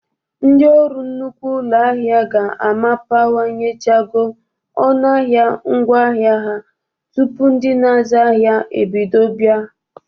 Ndị ọrụ nnukwu ụlọ ahia ga-amapanyechago ọnụ ahịa ngwa ahịa ha tupu ndị na-azụ ahịa ebido ịbịa.